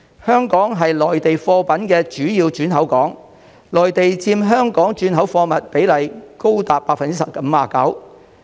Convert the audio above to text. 香港是內地貨物的主要轉口港，內地佔香港轉口貨物比例高達 59%。